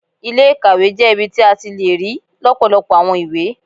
Ilé-ìkàwé jẹ́ ibi tí a ti le rí lọpọlọpọ àwọn ìwé